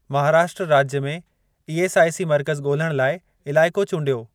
महाराष्ट्र राज्य में ईएसआईसी मर्कज़ ॻोल्हण लाइ इलाइको चूंडियो।